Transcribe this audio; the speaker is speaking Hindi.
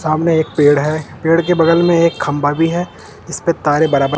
सामने एक पेड़ है पेड़ के बगल में एक खंभा भी है इसपे तारे बराबर--